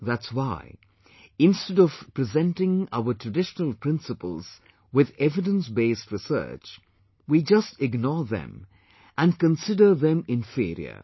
That's why instead of presenting our traditional principles with evidence based research, we just ignore them and consider them inferior